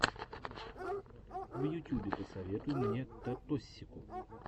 в ютюбе посоветуй мне таттосику